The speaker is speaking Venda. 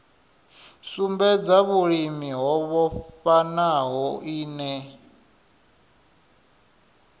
sumbedza vhulimi ho vhofhanaho ine